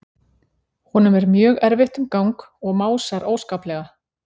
Honum er mjög erfitt um gang og másar óskaplega.